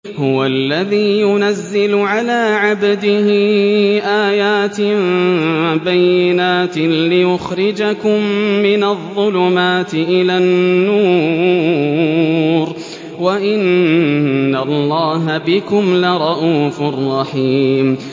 هُوَ الَّذِي يُنَزِّلُ عَلَىٰ عَبْدِهِ آيَاتٍ بَيِّنَاتٍ لِّيُخْرِجَكُم مِّنَ الظُّلُمَاتِ إِلَى النُّورِ ۚ وَإِنَّ اللَّهَ بِكُمْ لَرَءُوفٌ رَّحِيمٌ